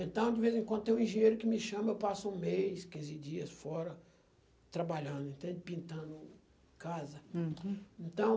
Então, de vez em quando tem um engenheiro que me chama, eu passo um mês, quinze dias fora, trabalhando, pintando casa. Uhum. Então